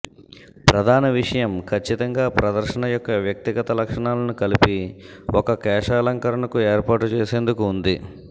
ప్రధాన విషయం ఖచ్చితంగా ప్రదర్శన యొక్క వ్యక్తిగత లక్షణాలను కలిపి ఒక కేశాలంకరణకు ఏర్పాటు చేసేందుకు ఉంది